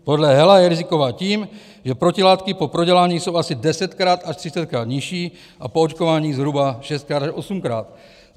Podle Hela je riziková tím, že protilátky po prodělání jsou asi desetkrát až třicetkrát nižší a po očkování zhruba šestkrát až osmkrát.